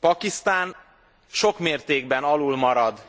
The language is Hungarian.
Pakisztán sok mértékben alulmarad